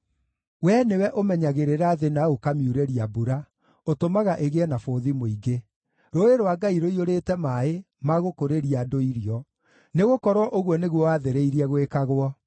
Wee nĩwe ũmenyagĩrĩra thĩ na ũkamiurĩria mbura; ũtũmaga ĩgĩe na bũthi mũingĩ. Rũũĩ rwa Ngai rũiyũrĩte maaĩ ma gũkũrĩria andũ irio, nĩgũkorwo ũguo nĩguo wathĩrĩirie gwĩkagwo.